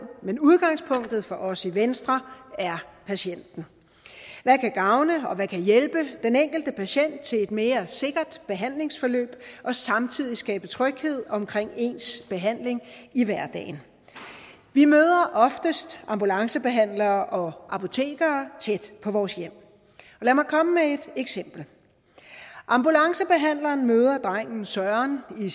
men udgangspunktet for os i venstre er patienten hvad kan gavne og hvad kan hjælpe den enkelte patient til et mere sikkert behandlingsforløb og samtidig skabe tryghed omkring ens behandling i hverdagen vi møder oftest ambulancebehandlere og apotekere tæt på vores hjem lad mig komme med et eksempel ambulancebehandleren møder drengen søren i